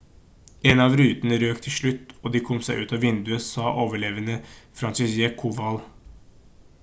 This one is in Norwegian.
«en av rutene røk til slutt og de kom seg ut av vinduet» sa overlevende franciszek kowal